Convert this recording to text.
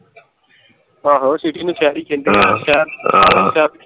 ਆਹੋ city ਨੂੰ ਸ਼ਹਿਰ ਹੀ ਕਹਿੰਦੇ ਹੈ ਹਾਂ ਹਾਂ ਸ਼ਹਿਰ